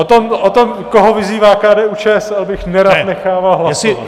O tom, koho vyzývá KDU-ČSL, bych nerad nechával hlasovat.